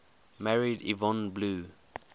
married yvonne blue